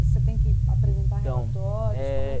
E você tem que apresentar relatórios?